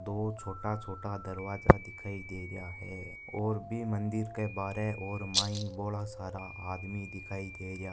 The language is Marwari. दो छोटा छोटा दरवाजे दिखाई दे रहे है और भी मंदिर के बारे और माई बोला सारा आदमी दिखाई दे रया।